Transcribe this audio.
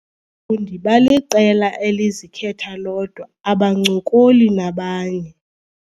fundi baliqela elizikhetha lodwa abancokoli nabanye.